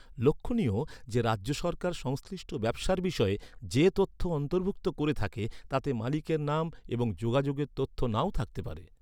লক্ষণীয় যে, রাজ্য সরকার সংশ্লিষ্ট ব্যবসার বিষয়ে যে তথ্য অন্তর্ভুক্ত করে থাকে, তাতে মালিকের নাম এবং যোগাযোগের তথ্য নাও থাকতে পারে।